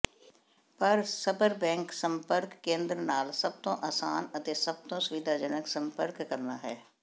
ਪਰ ਸਬਰਬੈਂਕ ਸੰਪਰਕ ਕੇਂਦਰ ਨਾਲ ਸਭ ਤੋਂ ਆਸਾਨ ਅਤੇ ਸਭ ਤੋਂ ਸੁਵਿਧਾਜਨਕ ਸੰਪਰਕ ਕਰਨਾ ਹੈ